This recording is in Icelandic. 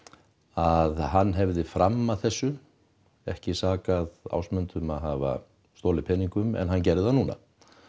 að hann hefði fram að þessu ekki sakað Ásmund um að hafa stolið peningum en hann gerði það núna